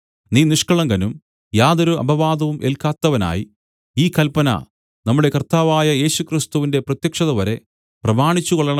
നീ നിഷ്കളങ്കനും യാതൊരു അപവാദവും ഏൽക്കാത്തവനായി ഈ കല്പന നമ്മുടെ കർത്താവായ യേശുക്രിസ്തുവിന്റെ പ്രത്യക്ഷതവരെ പ്രമാണിച്ചുകൊള്ളണം